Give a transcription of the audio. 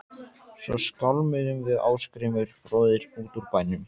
Svo skálmuðum við Ásgrímur bróðir út úr bænum.